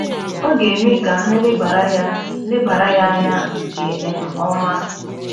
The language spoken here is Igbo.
Ọ ga - eme ka ha lebara ya lebara ya anya nke um ọma